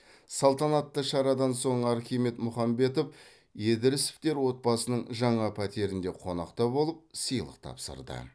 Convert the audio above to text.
салтанатты шарадан соң архимед мұхамбетов едіресовтер отбасының жаңа пәтерінде қонақта болып сыйлық тапсырды